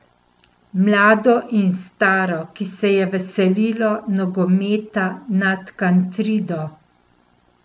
Mlado in staro, ki se je veselilo nogometa nad Kantrido.